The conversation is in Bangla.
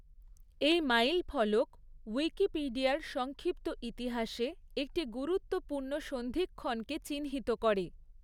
এই মাইলফলক উইকিপিডিয়ার সংক্ষিপ্ত ইতিহাসে একটি গুরুত্বপূর্ণ সন্ধিক্ষণকে চিহ্নিত করে।